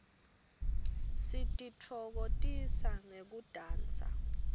sititfokotisa ngekudansa